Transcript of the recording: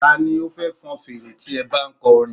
Ta ni ó fẹ́ fọn fèrè tí ẹ bá ń kọ orin?